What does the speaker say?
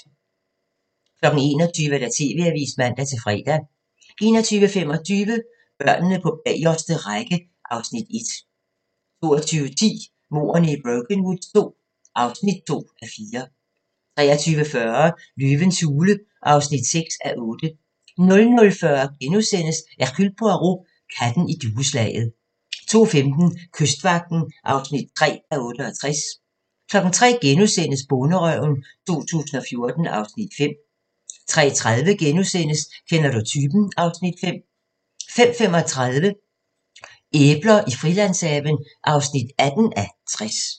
21:00: TV-avisen (man-fre) 21:25: Børnene på bagerste række (Afs. 1) 22:10: Mordene i Brokenwood II (2:4) 23:40: Løvens hule (6:8) 00:40: Hercule Poirot: Katten i dueslaget * 02:15: Kystvagten (3:68) 03:00: Bonderøven 2014 (Afs. 5)* 03:30: Kender du typen? (Afs. 5)* 05:35: Æbler i Frilandshaven (18:60)